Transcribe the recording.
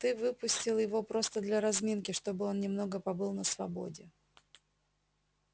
ты выпустил его просто для разминки чтобы он немного побыл на свободе